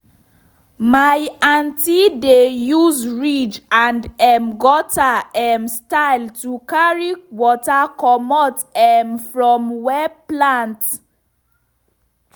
my aunty dey use ridge and um gutter um style to carry water commot um from where plant